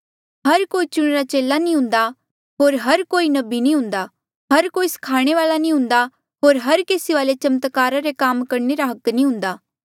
हर कोई चुणिरा चेला नी हुंदा हर कोई नबी नी हुंदा हर कोई स्खाणे वाले नी हुंदा होर हर केसी वाले चमत्कारा रे काम करणे रा हक नी हुंदा